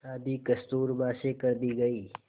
शादी कस्तूरबा से कर दी गई